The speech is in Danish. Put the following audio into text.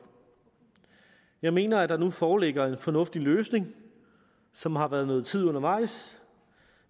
jeg mener at der nu foreligger en fornuftig løsning som har været nogen tid undervejs